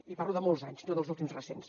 i parlo de molts anys no dels últims recents